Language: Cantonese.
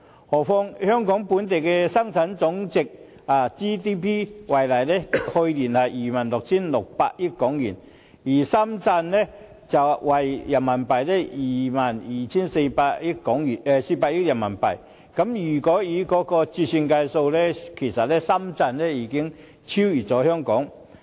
何況以香港本地生值總值為例，去年為 26,600 億港元，而深圳的 GDP 則為 22,400 億元人民幣，經折算匯率後，其實深圳已超越香港。